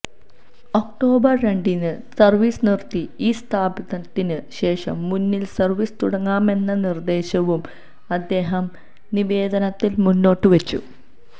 October രണ്ടിന് service നിര്ത്തി ഇവ സ്ഥാപിച്ചതിന് ശേഷം മൂന്നിന് സര്വീസ് തുടങ്ങാമെന്ന നിര്ദ്ദേശവും അദ്ദേഹം നിവേദനത്തില് മുന്നോട്ട് വച്ചു